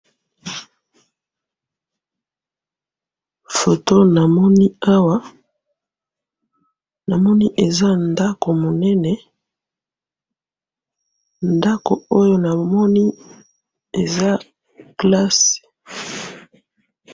Foto namoni awa, namoni eza ndako monene, ndako oyo namoni, eza classe.